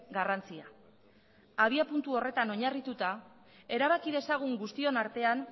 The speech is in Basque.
garrantzia abiapuntu horretan oinarrituta erabaki dezagun guztion artean